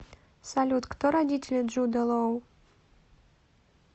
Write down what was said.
салют кто родители джуда лоу